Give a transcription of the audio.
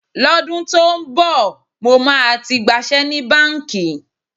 Lọ́dún tó ń bọ̀, mo máa ti gbaṣẹ́ ní báǹkì.